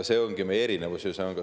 See ongi meie erinevus.